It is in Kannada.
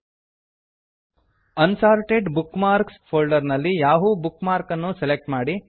assorted bookmarks unsorted bookmark folder ನಲ್ಲಿ ಯಾಹೂ ಬುಕ್ ಮಾರ್ಕ್ ಅನ್ನು ಸೆಲೆಕ್ಟ್ ಮಾಡಿ